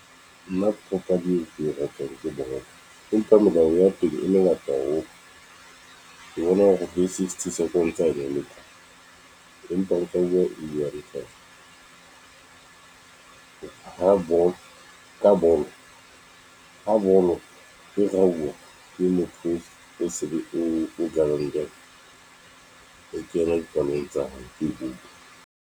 Nna papadi e ke e ratang ke bolo, empa melao ya teng e mengata haholo. Ke bona hore bo sixty seconds , empa o tla bua e re hloka ho bolo ka bolo, ha bolo e rauwa ke motho o se o o kena dipalong tsa hao ke goal.